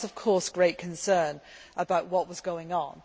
One is, of course, great concern about what was going on.